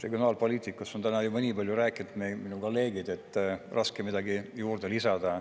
Regionaalpoliitikast on täna juba nii palju rääkinud minu kolleegid, et raske on midagi juurde lisada.